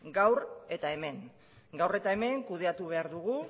gaur eta hemen gaur eta hemen kudeatu behar dugu